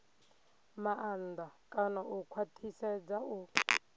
maanḓa kana u khwaṱhisedza u